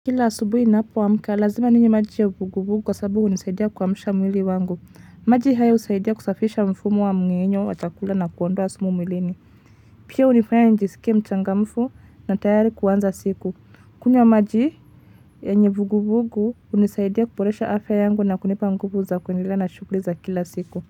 Kila asubuhi ninapoamka lazima ninywe maji ya Vuguvugu kwa sababu hunisaidia kuamsha mwili wangu. Maji haya husaidia kusafisha mfumo wa mmengenyo wa chakula na kuondoa sumu mwilini. Pia hunifanya nijisikie mchangamfu na tayari kuanza siku. Kunywa maji yenye vuguvugu hunisaidia kuboresha afya yangu na kunipa nguvu za kuendelea na shughuli za kila siku.